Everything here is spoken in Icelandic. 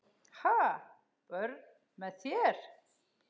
Ha, börn með þér?